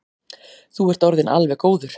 Þú ert orðinn alveg góður.